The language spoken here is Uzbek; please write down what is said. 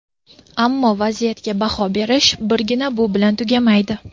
Ammo vaziyatga baho berish birgina bu bilan tugamaydi.